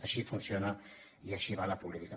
així funciona i així va la política